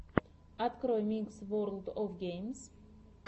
открой микс ворлд оф геймс